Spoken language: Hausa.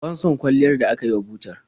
Ban son kwalliyar da aka yi wa butar.